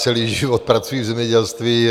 Celý život pracuji v zemědělství.